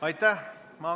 Aitäh!